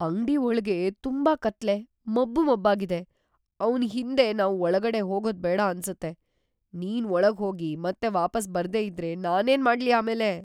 ಅಂಗ್ಡಿ ಒಳ್ಗೆ ತುಂಬಾ ಕತ್ಲೆ, ಮಬ್ಬು ಮಬ್ಬಾಗಿದೆ. ಅವ್ನ್‌ ಹಿಂದೆ ನಾವು ಒಳ್ಗಡೆ ಹೋಗೋದ್ಬೇಡ ಅನ್ಸತ್ತೆ. ನೀನ್ ಒಳಗ್ ಹೋಗಿ ಮತ್ತೆ ವಾಪಸ್‌ ಬರ್ದೇ ಇದ್ರೆ ನಾನೇನ್‌ ಮಾಡ್ಲಿ ಆಮೇಲೆ?!